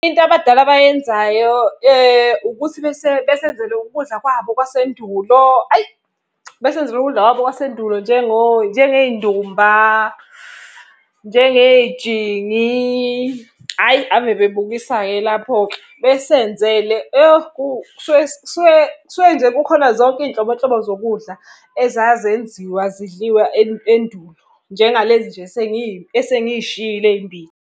Into abadala abayenzayo ukuthi besenzele ukudla kwabo kwasendulo hhayi. Besenzele ukudla kwabo kwasendulo njengey'ndumba, njengey'jingi, hhayi ave bebukisa-ke lapho-ke. Besenzele yo kusuke nje kukhona zonke iy'nhlobonhlobo zokudla ezazenziwa zidliwa endulo. Njengalezi nje esengiy'shilo ey'mbili.